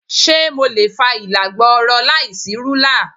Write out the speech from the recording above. Ṣé mo lè fa ìlà gbọọrọ láìsí rúlà?